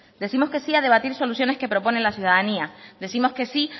décimos que sí a debatir soluciones que propone la ciudadanía décimos que sí